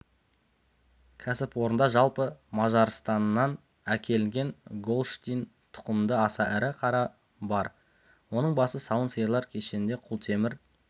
кәсіпорында жалпы мажарстаннан әкелінген голштин тұқымды аса ірі қара бар оның басы сауын сиырлар кешенде құлтемір